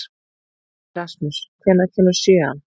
Erasmus, hvenær kemur sjöan?